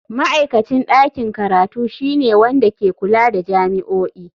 Ma'aikacin ɗakin karatu shine wanda ke kula da jami'o'i.